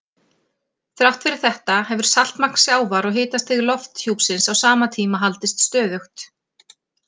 Þrátt fyrir þetta hefur saltmagn sjávar og hitastig lofthjúpsins á sama tíma haldist stöðugt.